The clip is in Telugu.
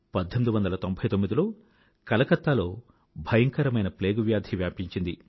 1899లో కలకత్తాలో భయంకరమైన ప్లేగు వ్యాధి వ్యాపించింది